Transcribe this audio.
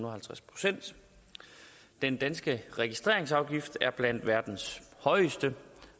og halvtreds procent den danske registreringsafgift er blandt verdens højeste